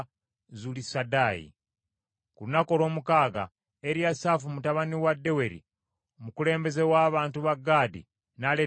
Ku lunaku olw’omukaaga Eriyasaafu mutabani wa Deweri, omukulembeze w’abantu ba Gaadi, n’aleeta ekiweebwayo kye.